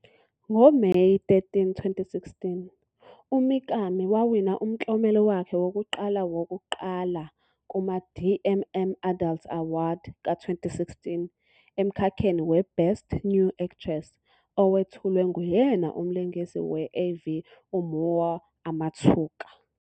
NgoMeyi 13, 2016, uMikami wawina umklomelo wakhe wokuqala wokuqala kuma-DMM Adult Awadi ka-2016 emkhakheni we- "Best New Actress" owethulwe nguyena umlingisi we-AV uMoe Amatsuka.